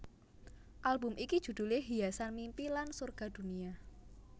Album iki judhulé Hiasan Mimpi lan Sorga Dunia